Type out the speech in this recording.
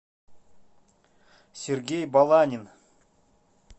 сергей баланин